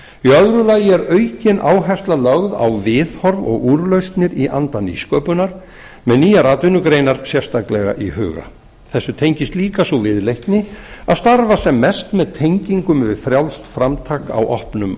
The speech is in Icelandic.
öðru lagi er aukin áhersla lögð á viðhorf og úrlausnir í anda nýsköpunar með nýja atvinnugreinar sérstaklega í huga þessu tengist líka sú viðleitni að starfa sem mest með tengingum við frjálst framtak á opnum